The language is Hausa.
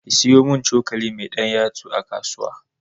ki siyu mun cokali mai ɗan yatsu a kasuwa